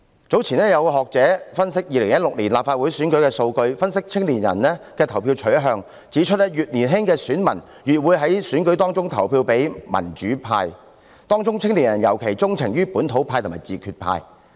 早前有學者分析2016年立法會選舉的數據，分析青年人的投票取向，指出越年青的選民越會在選舉中投票給民主派，當中青年人尤其鍾情於本土派和自決派。